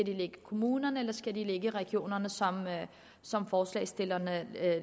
ligge i kommunerne eller skal de ligge i regionerne som som forslagsstillerne